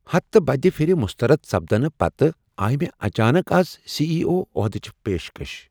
ہتہٕ بدِ پِھرِ مسترد سپدنہ پتہٕ آیہ مےٚ اچانک از سی ای او عۄہدٕچ پیشکش۔